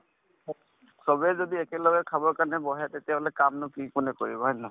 চবেই যদি একেলগে খাব কাৰণে বহে তেতিয়াহলে কামনো কি কোনে কৰিব হয় নে নহয়